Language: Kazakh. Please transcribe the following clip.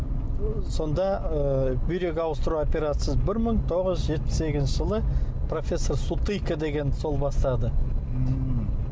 ы сонда ы бүйрек ауыстыру операциясы бір мың тоғыз жүз жетпіс сегізінші жылы профессор сутыка деген сол бастады ммм